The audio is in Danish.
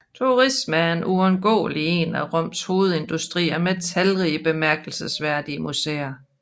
Turisme er uundgåeligt en af Roms hovedindustrier med talrige bemærkelsesværdige museer